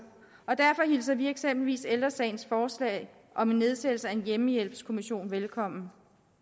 og derfor hilser vi eksempelvis ældre sagens forslag om en nedsættelse af en hjemmehjælpskommission velkommen